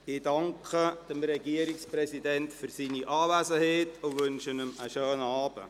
Ich danke dem Regierungspräsidenten für seine Anwesenheit und wünsche ihm einen schönen Abend.